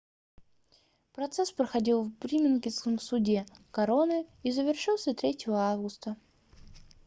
процесс проходил в бирмингемском суде короны и завершился 3 августа